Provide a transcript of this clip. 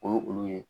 O ye olu ye